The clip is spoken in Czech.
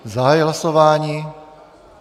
Zahajuji hlasování.